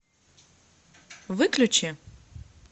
выключи